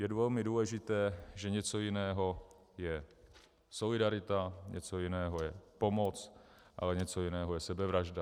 Je velmi důležité, že něco jiného je solidarita, něco jiného je pomoc, ale něco jiného je sebevražda.